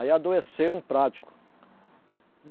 Aí adoeceu um prático.